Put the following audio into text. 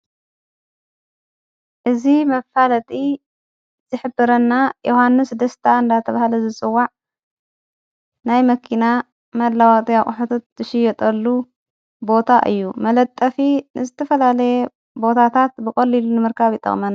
እዝ መፋለጢ ዘኅብረና ዮሓንስ ደስታ እንዳተ ብሃለ ዝጽዋዕ ናይ መኪና መላዋወጥ ኣቝሕታት ትሽዮጠሉ ቦታ እዩ መለጠፊ ንስትፈላለየ ቦታታት ብቖልሉ ንመርካብ ይጠቅመና ::